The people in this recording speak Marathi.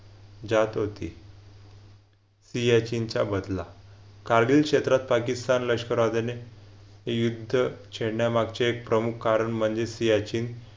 जात होती सियाचेन चा बदला कार्यक्षेत्रात पाकिस्तान लष्कर वादाने युद्ध छेडण्यामागचे एक प्रमुख कारण म्हणजे सियाचीन.